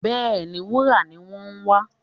Bẹ́ẹ̀, wúrà ni wọ́n ń wá